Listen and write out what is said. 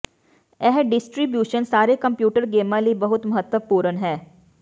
ਇਹ ਡਿਸਟਰੀਬਿਊਸ਼ਨ ਸਾਰੇ ਕੰਪਿਊਟਰ ਗੇਮਾਂ ਲਈ ਬਹੁਤ ਮਹੱਤਵਪੂਰਨ ਹੈ